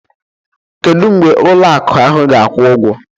Kedu mgbe ụlọ akụ ahụ ga-akwụ ụgwọ?